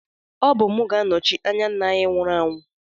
Ọ bụ m ga-anọchi anya nna anyị nwụrụ anwụ